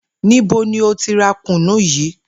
Níbo ni o ti ra kùnnú yii?